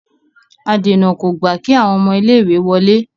adèna kò gba kí àwọn ọmọ ilé ìwé wọlé.